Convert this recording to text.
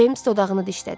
Ceyms dodağını dişlədi.